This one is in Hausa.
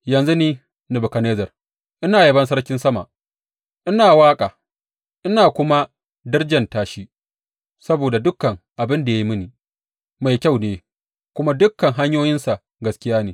Yanzu ni, Nebukadnezzar, ina yabon Sarkin sama, ina waƙa ina kuma darjanta shi, saboda dukan abin da ya yi mini, mai kyau ne kuma dukan hanyoyinsa gaskiya ne.